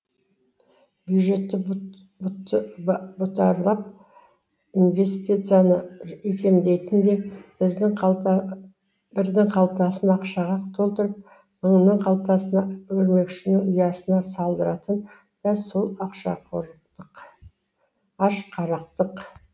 бюджетті бұтарлап инвестицияны икемдейтін де бірдің қалтасын ақшаға толтырып мыңның қалтасына өрмекшінің ұясына салдыратын да сол ашқарақтық